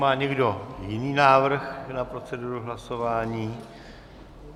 Má někdo jiný návrh na proceduru hlasování?